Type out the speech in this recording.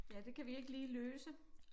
Ja det kan vi ikke lige løse